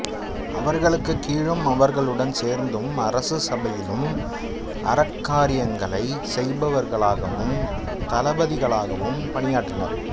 அவர்களுக்குக் கீழும் அவர்களுடன் சேர்ந்தும் அரச சபையிலும் அறக்காரியங்களை செய்பவர்களாகவும் தளபதிகளாகவும் பணியாற்றினர்